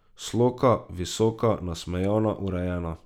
Sloka, visoka, nasmejana, urejena.